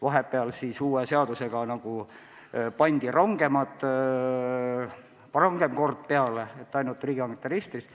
Vahepeal pandi uue seadusega peale rangem kord, mille järgi tuli hakata kasutama ainult riigihangete registrit.